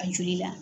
A joli la